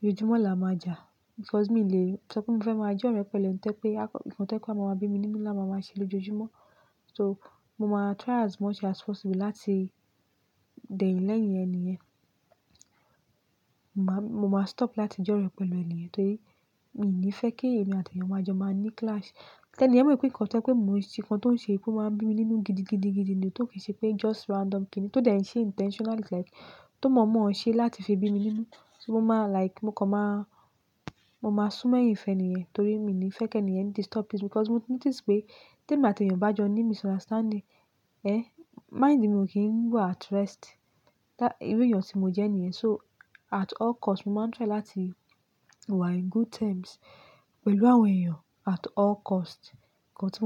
ójoojúmọ́ làá máa jà because mi lè sọ pé mo fẹ́ máa jẹ́ ọ̀rẹ́ pẹ̀lú ẹni ti o jẹ́ pé, nǹkan tó jẹ́ pé a máa bí mi nínú làá máa máa ṣe lójoojúmọ́. So mo máa try as much as possible láti dẹ̀yin lẹ́yìn eniyen. Mo má stop láti jẹ́ ọ̀rẹ́ pẹ̀lú eniyen torí mi ò ní fẹ́ kí èmi àti èèyàn máa jọ máa ní clash. Ti eniyen mọ̀ pé nǹkan tó jẹ́ pé mo nǹkan tí ó ń ṣe pé ó máa ń bí mi nínú gidi, gidi, gidi ni, ti ó kin ṣe pé just random kíni, tó dẹ̀ ń ṣe intentionally like tó mọ̀ mọ̀ ọ́n ṣe láti fi bí mi nínú, so mo máa like, mo kọ̀ má, mo máa sún mo eyin feniyen torí mi ò ní fẹ́ kí eniyen disturb peace because mo ti notice pé tí èmi àti èèyàn bá jọ ní misunderstanding, ehn, mind mi ò kín ń wà at rest. Irú èèyàn tí mo jẹ́ niyen. So at all cost, mo máa ń try láti wà in good terms pẹ̀lú àwọn èèyàn at all cost. Got it?